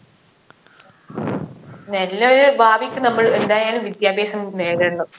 നല്ലൊരു ഭാവിക്ക് നമ്മൾ എന്തായാലും വിദ്യാഭ്യാസം നേടണം